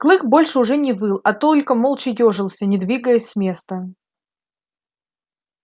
клык больше уже не выл а только молча ёжился не двигаясь с места